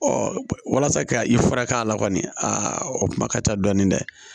walasa ka i furakɛ a la kɔni a kuma ka ca dɔɔni dɛ